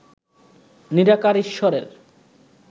নিরাকার ঈশ্বরের